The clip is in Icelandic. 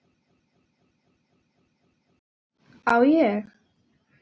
Á ég.?